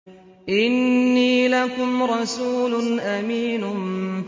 إِنِّي لَكُمْ رَسُولٌ أَمِينٌ